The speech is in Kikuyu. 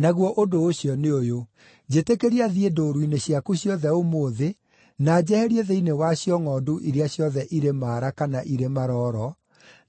Naguo ũndũ ũcio nĩ ũyũ: Njĩtĩkĩria thiĩ ndũũru-inĩ ciaku ciothe ũmũthĩ, na njeherie thĩinĩ wacio ngʼondu iria ciothe irĩ maara kana irĩ marooro,